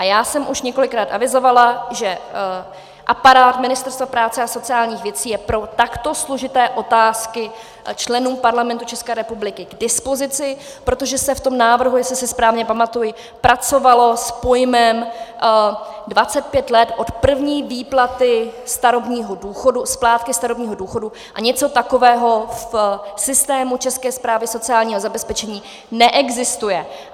A já jsem už několikrát avizovala, že aparát Ministerstva práce a sociálních věcí je pro takto složité otázky členů Parlamentu České republiky k dispozici, protože se v tom návrhu, jestli si správně pamatuji, pracovalo s pojmem 25 let od první výplaty starobního důchodu, splátky starobního důchodu, a něco takového v systému České správy sociálního zabezpečení neexistuje.